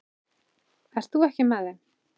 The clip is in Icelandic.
Ert þú ekki með þeim?